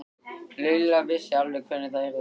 Lilla vissi alveg hvernig það yrði.